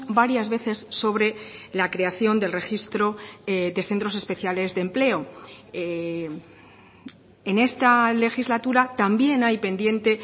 varias veces sobre la creación del registro de centros especiales de empleo en esta legislatura también hay pendiente